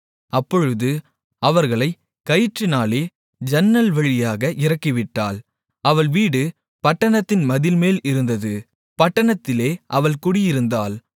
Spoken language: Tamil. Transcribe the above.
அப்பொழுது அவர்களைக் கயிற்றினாலே ஜன்னல்வழியாக இறக்கிவிட்டாள் அவள் வீடு பட்டணத்தின் மதில்மேல் இருந்தது பட்டணத்திலே அவள் குடியிருந்தாள்